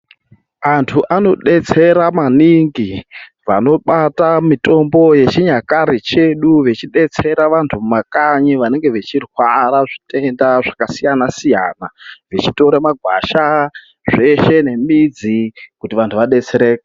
Antu anodetsera maningi vanobata mitombo yechinyakare chedu vechidetsera vantu mumakanyi vanenge vechirwara zvitenda zvakasiyana siyana ,vechitora magwasha zveshe nemidzi kuti vantu vadetsereke.